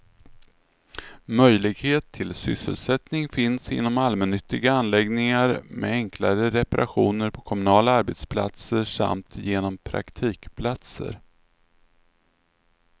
Möjlighet till sysselsättning finns inom allmännyttiga anläggningar, med enklare reparationer på kommunala arbetsplatser samt genom praktikplatser.